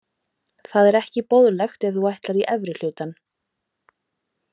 Það er ekki boðlegt ef þú ætlar í efri hlutann.